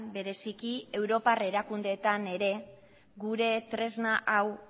bereziki europar erakundeetan ere gure tresna hau